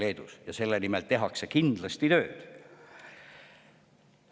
Selle nimel tehakse kindlasti tööd.